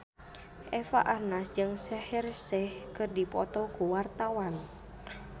Eva Arnaz jeung Shaheer Sheikh keur dipoto ku wartawan